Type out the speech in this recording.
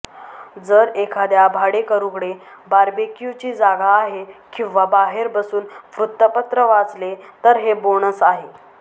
जर एखाद्या भाडेकरूकडे बारबेक्यूची जागा आहे किंवा बाहेर बसून वृत्तपत्र वाचले तर हे बोनस आहे